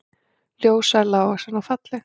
Ljóshærð, lágvaxin og falleg